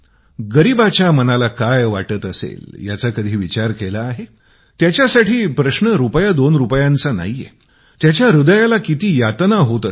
गरीबाच्या मनाला काय वाटत असेल याचा कधी विचार केला आहे त्याच्यासाठी प्रश्न रुपया रुपायाचा नाही त्यांच्या हृदयाला किती यातना होत असतील